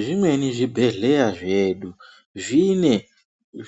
Zvimweni zvibhedhleya zvedu, zvine